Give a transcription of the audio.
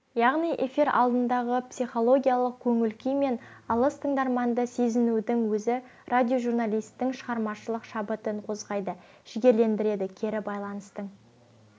яғни эфир алдындағы психологиялық көңіл-күй мен алыс тыңдарманды сезінудің өзі радиожурналистің шығармашылық шабытын қозғайды жігерлендіреді кері байланыстың